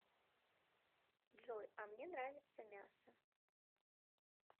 джой а мне нравится мясо